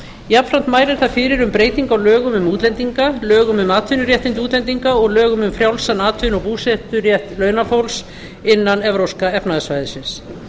jafnframt mælir það fyrir um breytingu á lögum um útlendinga lögum um atvinnuréttindi útlendinga og lögum um frjálsan atvinnu og búseturétt launafólks innan evrópska efnahagssvæðisins